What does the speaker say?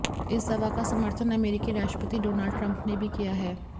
इस दवा का समर्थन अमेरिकी राष्ट्रपति डोनाल्ड ट्रंप ने भी किया है